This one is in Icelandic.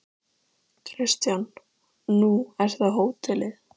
Kristján: Nú er það hótelið?